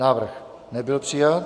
Návrh nebyl přijat.